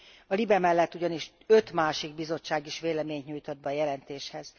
A LIBE mellett ugyanis öt másik bizottság is véleményt nyújtott be a jelentéshez.